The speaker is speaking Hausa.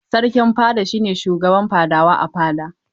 Sarkin fada shi ne shugaban fadawa a fada.